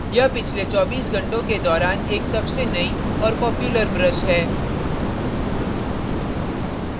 यह पिछले 24 घंटों के दौरान एक सबसे नई और popular brush है